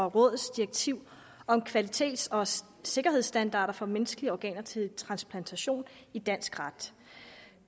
rådets direktiv om kvalitets og sikkerhedsstandarder for menneskelige organer til transplantation i dansk ret